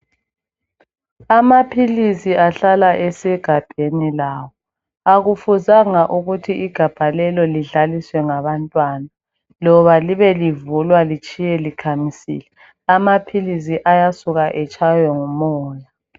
amaphilisi ahlala esegabheni lawo akufuzanga ukuthi igabha lelo lidlaliswe ngabantwana loba libe livulwa litshiywe likhamisile amaphilisi ayasuke atshaywe ngumoya